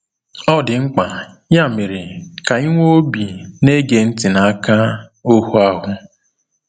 Ọ dị mkpa, ya mere, ka anyị nwee obi na-ege ntị n’aka “ohu ahụ.”